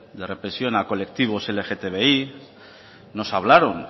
de represión a colectivos de lgtbi nos hablaron